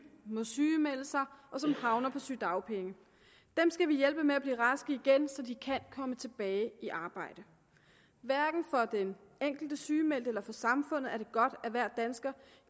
må sygemelde sig og som havner på sygedagpenge dem skal vi hjælpe med at blive raske igen så de kan komme tilbage i arbejde hverken for den enkelte sygemeldte eller for samfundet er det godt at hver dansker